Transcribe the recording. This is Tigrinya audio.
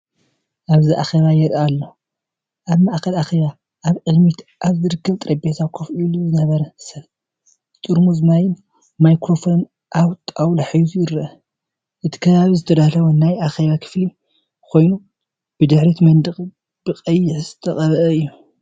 እብዚ ኣኼባ የርኢ ኣሎ። ኣብ ማእከል ኣኼባ ኣብ ቅድሚት ኣብ ዝርከብ ጠረጴዛ ኮፍ ኢሉ ዝነበረ ሰብ፡ ጥርሙዝ ማይን ማይክሮፎንን ኣብ ጣውላ ሒዙ ይርአ። እቲ ከባቢ ዝተዳለወ ናይ ኣኼባ ክፍሊ ኮይኑ፡ ድሕሪት መንደቕ ብቐይሕ ዝተቐብአ እዩ።